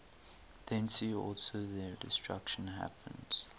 thence also their destruction happens